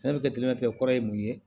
Sɛnɛkɛ kɔrɔ ye mun ye